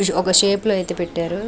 ఒక షేప్ లో ఐతే పెట్టారు.